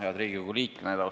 Head Riigikogu liikmed!